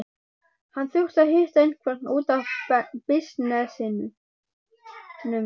Hann þurfti að hitta einhvern út af bisnessinum.